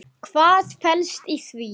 Hvað felst í því?